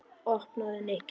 Opnaðu, Nikki.